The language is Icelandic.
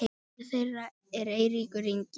sonur þeirra er Eiríkur Ingi.